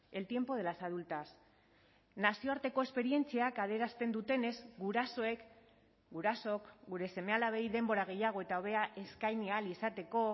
el tiempo de las adultas nazioarteko esperientziak adierazten dutenez gurasoek gurasook gure seme alabei denbora gehiago eta hobea eskaini ahal izateko